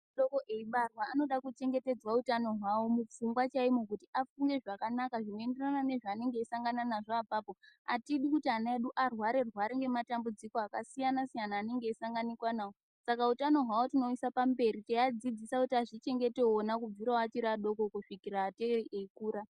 Mwana eibarwa anofana kuchengetedzwa Hutano hwavo kuti vakure pfungwa chaimo zvinoenderana zvanosangana nazvo ipapo Atidi kuti vana vedu varware rware nematambudziko anenge eisanganikwa nawo Saka hutano hwawo tinosangana nawo teivadzidzisa kuti azvichengete ona kubva achiri vadiki kusvika ngatei veikura.